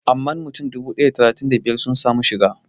Amma mutum dubu ɗaya da talatin da biyar sun samu sun shiga